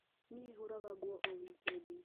Niĩ hũraga nguo o wikendi.